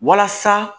Walasa